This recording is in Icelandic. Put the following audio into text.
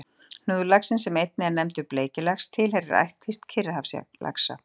Hnúðlaxinn, sem einnig er nefndur bleiklax, tilheyrir ættkvísl Kyrrahafslaxa.